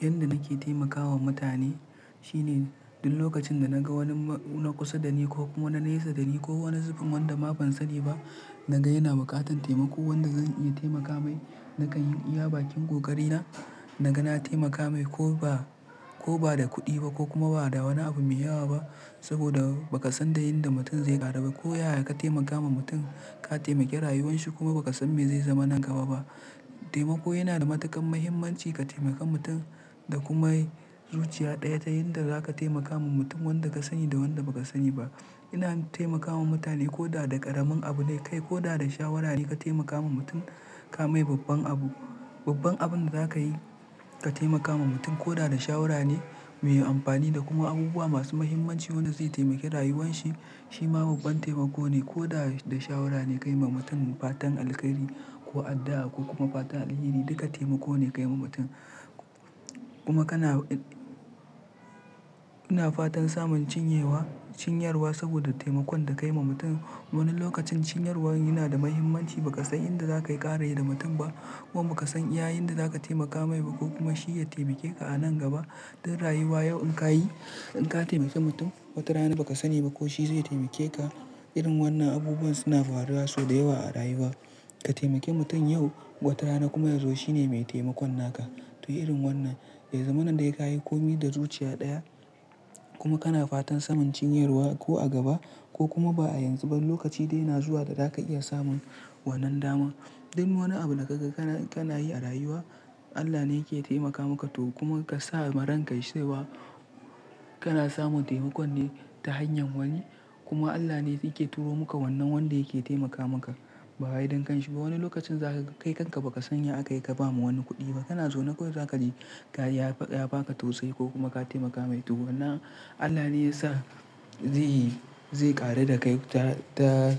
Yanda nake taimakawa mutane shine duk lokacin da naga wani na kusa dani ko na nesa dani ko wani zubin wanda ma ban sani ba naga yana bukatar taimako wanda zan iya taimaka mai nakan iya bakin kokarina naga na taimaka mai ko ba da kuɗi ba ko kuma ba da wani abu me yawa ba saboda ba ka san da yanda mutum zai ƙaru ba ko ya ya ka taimaka ma mutum ka taimaki rayuwan shi kuma ba ka san me zai zama nan gaba ba. Taimako yana da matuƙar muhimmanci ka taimaka mutum da kuma yi zuciya ɗaya ta yanda za ka taimaka ma mutum wanda ka sani da wanda ba ka sani ba. Ina taimakawa mutane ko da da ƙaramin abu ne kai ko da da shawara ne ka taimaka ma mutum ka mai babban abu. Babban abun da za ka yi ka taimaka ma mutum ko da da shawara ne mai amfani da kuma abubuwa masu muhimmanci wanda zai taimaki rayuwan shi, shi ma babban taimako ne ko da da shawara ne ka yi ma mutum fatan alkairi ko addu'a ko kuma fatan alheri duka taimako ne ka yi ma mutum. Kuma kana ina fatan samun cinyewa-- cinyarwa saboda taimakon da ka yi ma mutum. Wani lokacin cinyarwa yana da muhimmanci ba ka san inda za ka ƙaraye da mutum ba kuma ba ka san iya inda za ka taimaka mai ba ko kuma shi ya taimake ka a nan gaba. Don rayuwa yau in ka yi-- in ka taimaki mutum watarana ba ka sani ba ko shi zai taimake ka. Irin wannan abubuwan suna faruwa sau da yawa a rayuwa. Ka taimaki mutum yau watarana kuma yazo shi ne mai taimakon naka. To irin wannan, dai zamanin dai ka yi komi da zuciya ɗaya kuma kana fatan samun cinyarwa ko a gaba ko kuma ba a yanzu ba lokaci dai yana zuwa da za ka iya samun wannan dama. Dun wani abu da gaga kana yi a rayuwa Allah ne yake taimakawa muka to kuma ka sa ran ka sai wa kana samun taimako ne ta hanyar wani kuma Allah ne yake turo muka wannan wanda yake taimakawa muka bayan gayan shi. To wani lokacin za ka kai kanka ba ka san ya aka yi ka ba mu wani kuɗi ba. Kana zuwa nakwai za ka je ka ya baka tausayi ko kuma ka taimakawa mai tuwo. Wannan Allah ne ya sa zai yi zai ƙare da kai ta